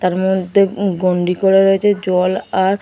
তার মধ্যে উ গন্ডি করে রয়েছে জল আর --